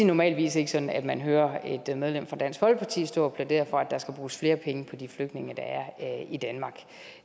normalt ikke sådan at man hører et medlem af dansk folkeparti stå og plædere for at der skal bruges flere penge på de flygtninge der er i danmark